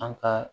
An ka